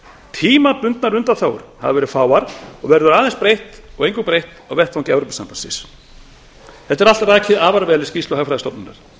tímabundnar undanþágur hafa verið fáar og verður eingöngu breytt á vettvangi e s b þetta er allt rakið afar vel í skýrslu hagfræðistofnunar